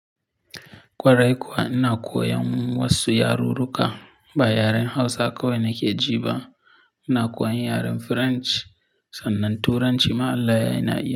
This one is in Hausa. Kwarai kuwa ina koyan wasu yaru ruka ba yaren Hausa kawai nake jiba. Ina koyan yaren French sannan Turanci ma Allah yayi na iyi.